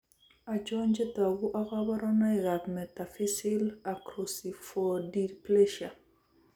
Achon chetogu ak kaborunoik ab metaphyseal acroscyphodysplasia?